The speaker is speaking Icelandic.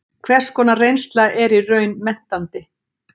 Hvers konar reynsla er í raun menntandi?